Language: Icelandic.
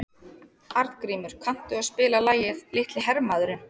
Arngrímur, kanntu að spila lagið „Litli hermaðurinn“?